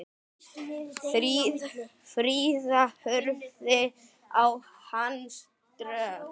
Fríða horfði á hann ströng.